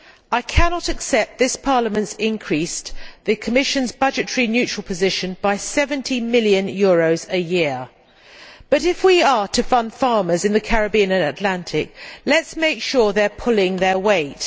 I cannot accept that this Parliament has increased the Commission's budgetary neutral position by EUR 70 million a year. However, if we are to fund farmers in the Caribbean and Atlantic, let us make sure they are pulling their weight.